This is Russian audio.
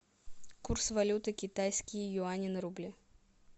курс валюты китайские юани на рубли